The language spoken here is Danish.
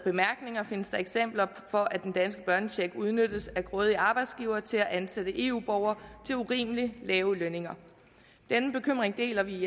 findes der eksempler på at den danske børnecheck udnyttes af grådige arbejdsgivere til at ansætte eu borgere til urimelig lave lønninger den bekymring deler vi